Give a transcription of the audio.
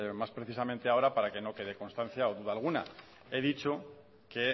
más precisamente ahora para que no quede constancia o duda alguna he dicho que